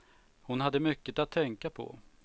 Hon hade mycket att tänka på.